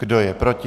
Kdo je proti?